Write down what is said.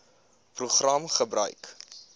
program gebruik